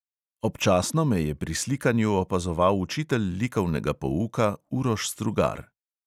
Občasno me je pri slikanju opazoval učitelj likovnega pouka uroš strugar.